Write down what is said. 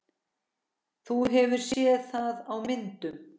Þú hefur séð það á myndum.